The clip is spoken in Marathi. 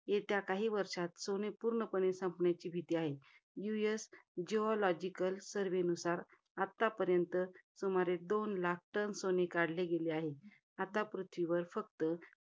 येत्या काही वर्षात सोने पूर्णपणे, संपण्याची भीती आहे. US geological surve नुसार, आतापर्यंत सुमारे, दोन लाख टन सोने काढले गेले आहे. आता पृथ्वीवर फक्त,